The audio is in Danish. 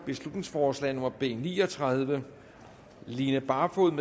beslutningsforslag nummer b ni og tredive line barfod